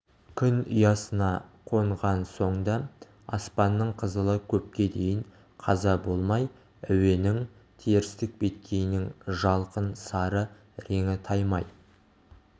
күн ұясына қонған соң да аспанның қызылы көпке дейін қаза болмай әуенің терістік беткейінің жалқын сары реңі таймай